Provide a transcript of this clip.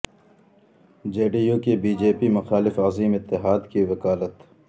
جے D U کی B J P مخالف عظیم اتحاد کی وکالت